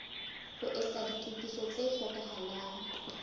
ho etsa ditokiso tse hlokahalang